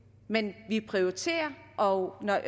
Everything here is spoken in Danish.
men vi prioriterer og når